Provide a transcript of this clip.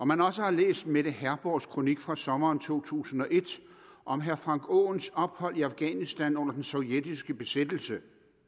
man også har læst mette herborgs kronik fra sommeren to tusind og et om herre frank aaens ophold i afghanistan under den sovjetiske besættelse